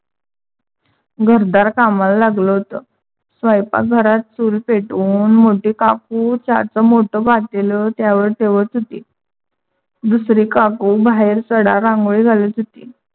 घरदार कामाला लागल होत. स्वयपाक घरात चूल पेटवून मोठी काकू चहाच मोठ पातेल त्यावर ठेवत होती. दुसरी काकू बाहेर सडा रांगोळी घालत होती.